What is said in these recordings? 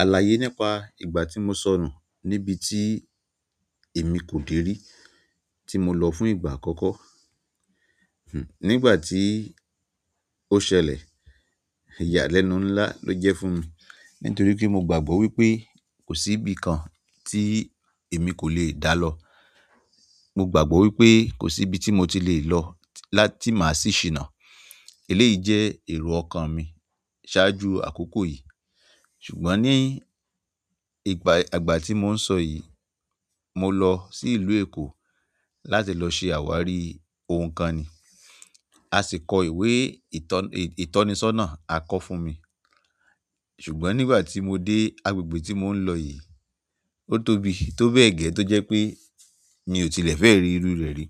Àlàyé nípa ìgbà tí mo sọ̀nu níbi tí èmi kò dèrí tí mo lọ fún ìgbà àkọ́kọ́. Hun, nígbà tí ó ṣẹlẹ̀, ìyàlẹ́nu ńlá ló jẹ́ fún mi nítorí pé mo gbàgbọ́ wípé kò sí ibi kan tí èmi kò lè dá lọ. Mo gbàgbọ́ wípé kò sí ibi tí mo ti lè lọ láti máa sì ṣìnà. Eléyìí jẹ́ èrò ọkàn mi ṣáájú àkókò yìí. Ṣùgbọ́n ní ìgbà, ìgbà tí mò ń sọ yìí, mo lọ sí ìlú Èkó láti lọ ṣe àwárí ohun kan ni. A sì kọ ìwé ìtọ́nìsọ́nà àkọ fún mi. Ṣùgbọ́n nígbà tí mo dé agbègbè tí mò ń lọ yìí, ó tóbi, tó bẹ́ẹ̀ gẹ́ tó jẹ́ pé mi ò tilẹ̀ fẹ́ rí irú rẹ̀ rí.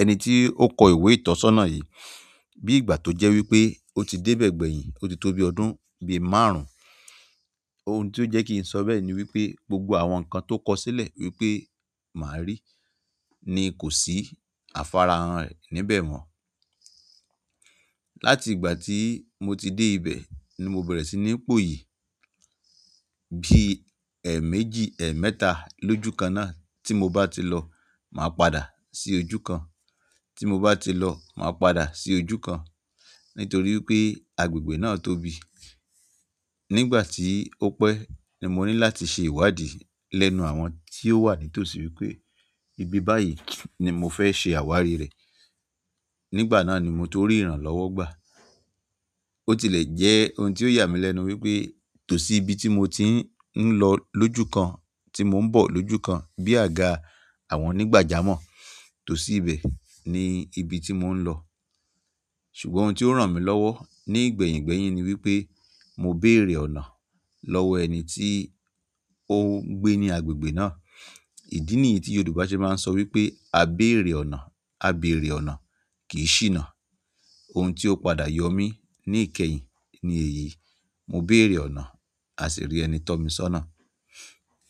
Ẹni tí ó kọ ìwé ìtọ́sọ́nà yìí bí ìgbà tó jẹ́ wípé ó ti dé bẹ́ẹ̀ gbẹ̀yìn, ó ti tó bi ọdún bí márùn ún. Ohun tí ó jẹ́ kí n sọ bẹ́ẹ̀ ni wípé gbogbo àwọn nǹkan tó kọsílẹ̀ wípé màá rí ni kò sí afáráhan re níbẹ̀ mọ́. Láti ìgbà tí mo ti dé ibẹ̀ ni mo bẹ̀rẹ̀ sí ní pò yìí. Bí ẹ̀ méjì, ẹ̀ mẹ́ta lójúkan náà tí mo bá ti lọ, màá padà sí ojú kan. Tí mo bá ti lọ, màá padà sí ojú kan nítorí pé agbègbè náà tóbi. Nígbà tí ó pẹ́ ni mo ní láti ṣe ìwádìí lẹ́nu àwọn tí ó wà ní tòsí wípé ibi báyìí ni mo fẹ́ ṣe àwárí rẹ̀. Nígbà náà ni mo torí ìrànlọ́wọ́ gbà. Ó tilẹ̀ jẹ́ ohun tí ó yà mí lẹ́nu wípé tòsí ibi tí mo ti ń lọ lójú kan, tí mò ń bọ̀ lójú kan bí àga àwọn onígbàjámọ̀. Tòsí ibẹ̀ ni ibi tí mò ń lọ. Ṣùgbọ́n ohun ti o ran mi lowo ni igbehin gbehin ni wípé mo beere ọ̀nà lowo ẹni ti oun gbe ni agbègbè na. Ìdí nìyí tí Yorùbá ṣe máa ń sọ wípé "à béèrè ọ̀nà, à béèrè ọ̀nà kì í ṣìnà". Ohun ti o padà yomi nikehin ni èyí. Mo béèrè ọ̀nà, a sì rí ẹni tọ́ mi sọ́nà.